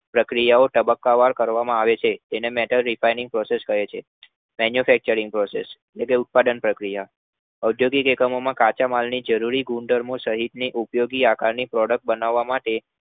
પ્રક્રિયાઓ તબક્કાવાર કરવામાં આવે છે, તેને metal refining process manufacturing process ઉત્પાદન પ્રક્રિયા ઔદ્યોગિક એકમોમાં કાચા માલમાંથી જરૂરી ગુણધર્મો સહિતની ઉપયોગી આકારની product બનાવવા માટે